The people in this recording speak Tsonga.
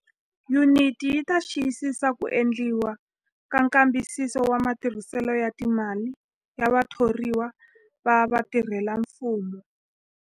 Yuniti yi ta xiyisisa ku endliwa ka nkambisiso wa matirhiselo ya timali ya vathoriwa va vatirhelamfumo.